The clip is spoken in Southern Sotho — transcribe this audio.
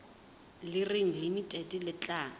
le reng limited le tla